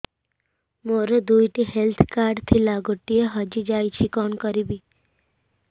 ମୋର ଦୁଇଟି health card ଥିଲା ଗୋଟିଏ ହଜି ଯାଇଛି କଣ କରିବି